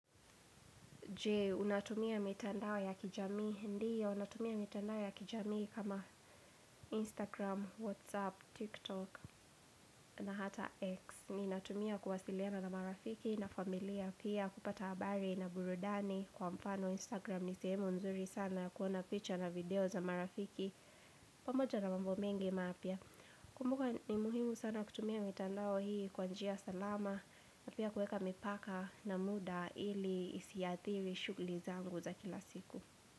Jee, unatumia mitandao ya kijamii, ndiyo, natumia mitandao ya kijamii kama Instagram, Whatsapp, TikTok, na hata X. Ninatumia kuwasiliana na marafiki na familia pia kupata habari na burudani kwa mfano Instagram. Ni sehemu nzuri sana kuona picture na video za marafiki pamoja na mambo mengi mapya. Kumbuka ni muhimu sana kutumia mitandao hii kwa njia salama na pia kuweka mipaka na muda ili isiathiri shuguli zangu. Za kila siku.